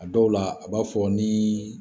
A dɔw la, a b'a fɔ ni